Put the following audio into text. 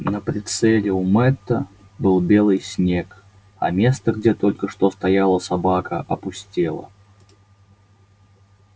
на прицеле у мэтта был белый снег а место где только что стояла собака опустело